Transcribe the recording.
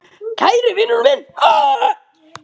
Kæri vinur minn.